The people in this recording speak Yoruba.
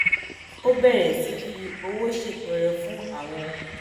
ó bèrè sí fi owó ṣètọrẹ fún àwọn